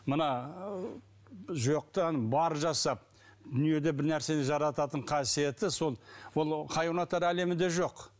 мына ы жоқтан бар жасап дүниеде бір нәрсе жарататын қасиеті сол ол хайуанаттар әлемінде жоқ